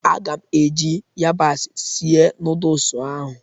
Agam eji yabasị sie noodusi ahụ